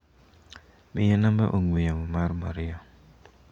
Miya namba ong'ue yamo mar Maria.